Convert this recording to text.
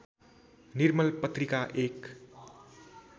निर्मल पत्रिका एक